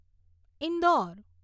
Indore